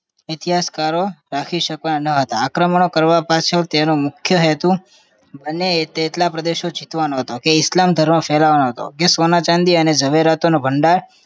ઇતિહાસ કરો રાખી શક્યા ન હતા આક્રમણ કરવા પાછળનો મુખ્ય હેતુ બને એટલા પ્રદેશો જીતવાનો હતો ઇસ્લામ ધર્મ ફેલાવવાનો હતો કે સોના ચાંદી અને ઝવેરાત નો ભંડાર